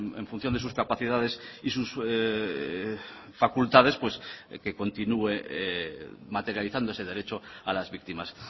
en función de sus capacidades y sus facultades que continúe materializando ese derecho a las víctimas